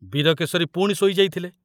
ବୀରକେଶରୀ ପୁଣି ଶୋଇ ଯାଇଥିଲେ।